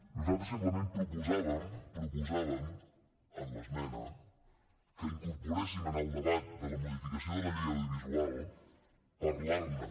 nosaltres simplement proposàvem proposàvem en l’esmena que incorporéssim en el debat de modificació de la llei de l’audiovisual parlar ne